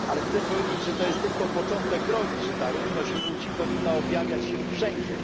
Ale chcę powiedzieć, że to jest tylko początek drogi i że ta równość płci powinna objawiać się wszędzie.